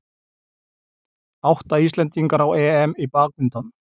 Átta Íslendingar á EM í badminton